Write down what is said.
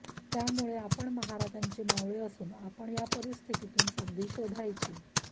त्यामुळे आपण महाराजांचे मावळे असून आपण या परिस्थितीतून संधी शोधायची